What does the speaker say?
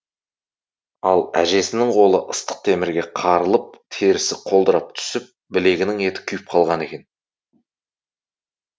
ал әжесінің қолы ыстық темірге қарылып терісі қолдырап түсіп білегінің еті күйіп қалған екен